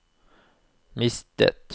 mistet